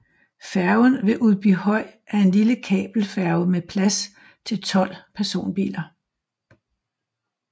Færgen ved Udbyhøj er en lille kabelfærge med plads til 12 personbiler